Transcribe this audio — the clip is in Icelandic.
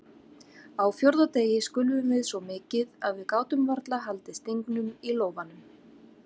Á fjórða degi skulfum við svo mikið að við gátum varla haldið stingnum í lófanum.